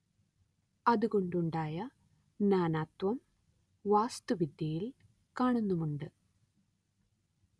അതുകൊണ്ടുണ്ടായ നാനാത്വം വാസ്തുവിദ്യയിൽ കാണുന്നുമുണ്ട്